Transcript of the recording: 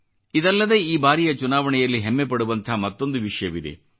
ಇದಲ್ಲದೆ ಈ ಬಾರಿಯ ಚುನಾವಣೆಯಲ್ಲಿ ಹೆಮ್ಮೆ ಪಡುವಂಥ ಮತ್ತೊಂದು ವಿಷಯವಿದೆ